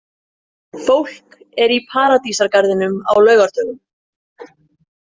Fólk er í Paradísargarðinum á laugardögum.